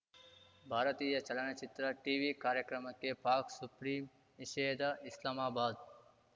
ಭಾರತೀಯ ಚಲನಚಿತ್ರ ಟಿವಿ ಕಾರ್ಯಕ್ರಮಕ್ಕೆ ಪಾಕ್‌ ಸುಪ್ರೀಂ ನಿಷೇಧ ಇಸ್ಲಾಮಾಬಾದ್‌